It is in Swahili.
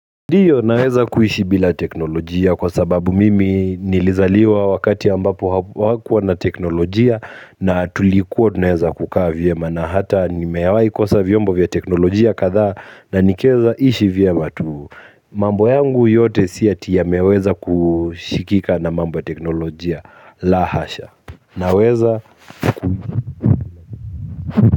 Ndiyo naweza kuishi bila teknolojia kwa sababu mimi nilizaliwa wakati ambapo hawakuwa na teknolojia na tulikuwa tunaweza kukaa vyema na hata nimewahi kosa vyombo vya teknolojia kadhaa na nikaweza ishi vyema tu. Mambo yangu yote si ati yameweza kushikika na mambo ya teknolojia la hasha. Naweza.